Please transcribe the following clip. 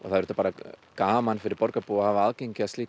gaman fyrir borgarbúa að hafa aðgang að